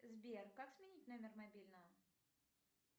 сбер как сменить номер мобильного